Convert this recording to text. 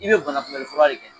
I be bana kunmɛnli fura de kɛ